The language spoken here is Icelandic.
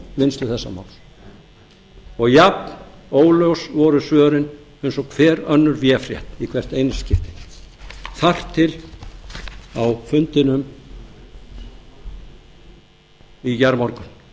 vinnslu þessa máls og jafnóljós voru svörin eins og hver önnur véfrétt í hvert einasta skipti þar til á fundinum í gærmorgun eða seinni part í gær hvað gerði ég